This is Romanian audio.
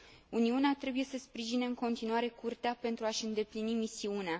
Uniunea trebuie să sprijine în continuare Curtea pentru a și îndeplini misiunea.